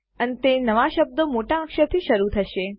અંતેનવા શબ્દો મોટા અક્ષરથી શરુ થશે